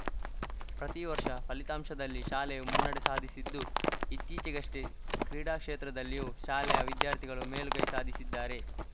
ಪ್ರತಿವರ್ಷ ಫಲಿತಾಂಶದಲ್ಲಿ ಶಾಲೆಯು ಮುನ್ನಡೆ ಸಾಧಿಸಿದ್ದು ಇತ್ತೀಚಿಗಷ್ಟೇ ಕ್ರೀಡಾ ಕ್ಷೇತ್ರದಲ್ಲಿಯೂ ಶಾಲೆಯ ವಿದ್ಯಾರ್ಥಿಗಳು ಮೇಲುಗೈ ಸಾಧಿಸಿದ್ದಾರೆ